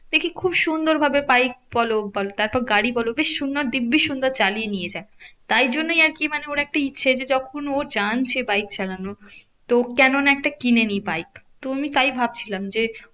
দেখি খুব সুন্দর ভাবে বাইক বলো তারপর গাড়ি বলো বেশ সুন্দর দিব্বি সুন্দর চালিয়ে নিয়ে যায়। তাই জন্যেই আরকি মানে ওর একটা ইচ্ছে যে যখন ও জানছে বাইক চালানো তো কেন না একটা কিনে নিই বাইক। তো আমি তাই ভাবছিলাম যে,